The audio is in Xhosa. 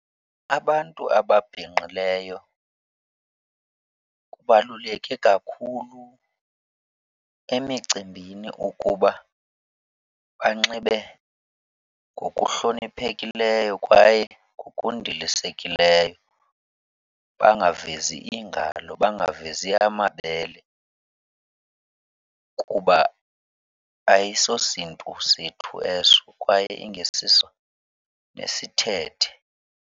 Abantu ababhinqileyo kubaluleke kakhulu emicimbini ukuba banxibe ngokuhloniphekileyo kwaye ngokundilisekileyo bangavezi iingalo, bangavezi amabele, kuba ayisosiNtu sethu eso kwaye ingesiso nesithethe.